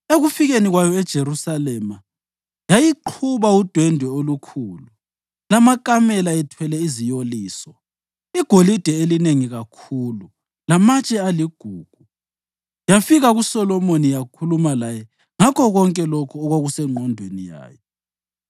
Ekufikeni kwayo eJerusalema yayiqhuba udwende olukhulu, lamakamela ethwele iziyoliso, igolide elinengi kakhulu lamatshe aligugu, yafika kuSolomoni yakhuluma laye ngakho konke lokho okwakusengqondweni yayo.